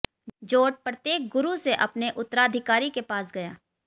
जोट प्रत्येक गुरु से अपने उत्तराधिकारी के पास गया